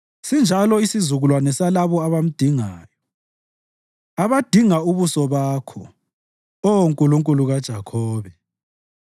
Sinjalo isizukulwane salabo abamdingayo, abadinga ubuso Bakho, Oh Nkulunkulu kaJakhobe.